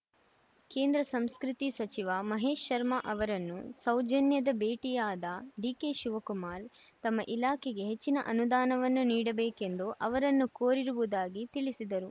ಕೇಂದ್ರ ಸಂಸ್ಕೃತಿ ಸಚಿವ ಮಹೇಶ್‌ ಶರ್ಮಾ ಅವರನ್ನು ಸೌಜನ್ಯದ ಭೇಟಿಯಾದ ಡಿಕೆಶಿವಕುಮಾರ್‌ ತಮ್ಮ ಇಲಾಖೆಗೆ ಹೆಚ್ಚಿನ ಅನುದಾನವನ್ನು ನೀಡಬೇಕು ಎಂದು ಅವರನ್ನು ಕೋರಿರುವುದಾಗಿ ತಿಳಿಸಿದರು